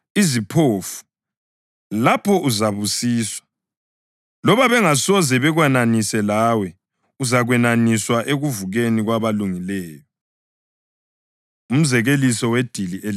lapho uzabusiswa. Loba bengasoze bakwenanise lawe, uzakwenaniswa ekuvukeni kwabalungileyo.” Umzekeliso Wedili Elikhulu